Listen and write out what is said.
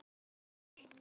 eftir Jón Snædal